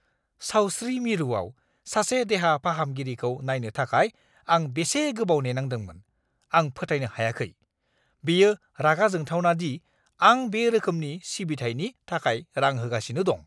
सावस्रि मिरुआव सासे देहा फाहामगिरिखौ नायनो थाखाय आं बेसे गोबाव नेनांदोंमोन, आं फोथायनो हायाखै! बेयो रागा जोंथावना दि आं बे रोखोमनि सिबिथायनि थाखाय रां होगासिनो दं!